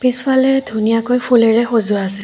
পিছফালে ধুনীয়াকৈ ফুলেৰে সজোৱা আছে।